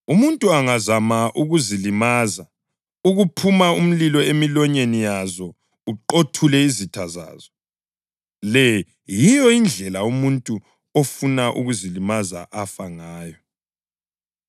Umuntu angazama ukuzilimaza, kuphuma umlilo emilonyeni yazo uqothule izitha zazo. Le yiyo indlela umuntu ofuna ukuzilimaza afa ngayo.